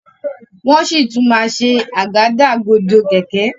wón sí tún ṣe Àgádágodo kẹ̀kẹ́.